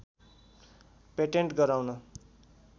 patent गराउन